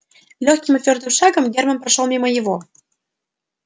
лёгким и твёрдым шагом герман прошёл мимо его